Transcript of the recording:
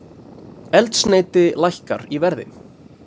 Eldsneyti lækkar í verði